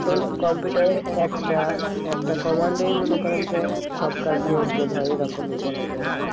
কম্পিউটারের একটা একটা command ই মনে করেন যে সব কাজ নিয়ন্ত্রণ হয় এ রকমই বলা যায়